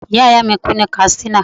Ìyá ìyá mi kú ní Katsina.